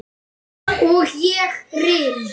Og ég rym.